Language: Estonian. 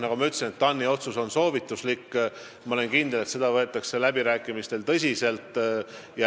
Nagu ma ütlesin, TAN-i otsus on soovituslik, kuid ma olen kindel, et seda võetakse läbirääkimistel tõsiselt.